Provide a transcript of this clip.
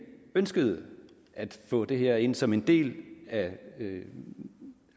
ønskede at få det her ind som en del af